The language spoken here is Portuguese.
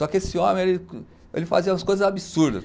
Só que esse homem, ele ele fazia umas coisas absurdas.